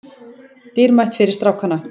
Dýrmætt fyrir strákana